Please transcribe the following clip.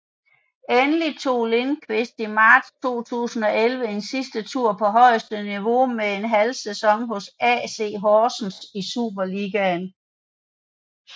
Endelig tog Lindkvist i marts 2011 en sidste tur på højeste niveau med en halvsæson hos AC Horsens i Superligaen